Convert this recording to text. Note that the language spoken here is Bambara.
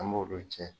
An b'o de tiɲɛ